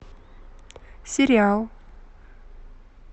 сериал